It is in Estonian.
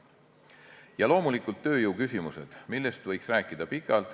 Ja loomulikult tööjõuküsimused, millest võiks rääkida pikalt.